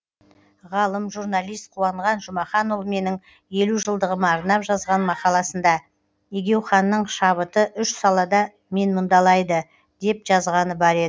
ғалым журналист қуанған жұмаханұлы менің елу жылдығыма арнап жазған мақаласында егеуханның шабыты үш салада менмұндалайды деп жазғаны бар еді